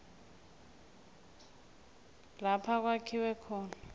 lapha kwakhiwa khona